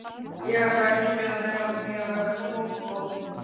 Ég ætla að einbeita mér að því að verða sólbrún.